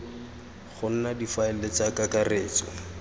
go nna difaele tsa kakaretso